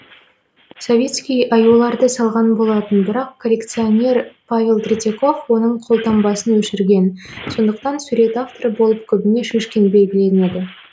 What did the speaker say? савицкий аюларды салған болатын бірақ коллекционер павел третьяков оның қолтаңбасын өшірген сондықтан сурет авторы болып көбіне шишкин белгіленеді